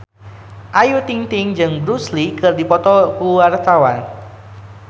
Ayu Ting-ting jeung Bruce Lee keur dipoto ku wartawan